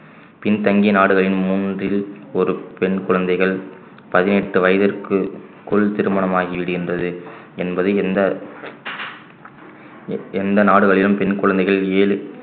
பின்தங்கிய நாடுகளின் மூன்றில் ஒரு பெண் குழந்தைகள் பதினெட்டு வயதிற்குள் திருமணம் ஆகிவிடுகின்றது என்பது எந்த எந்த நாடுகளிலும் பெண் கொழந்தைகள் ஏழு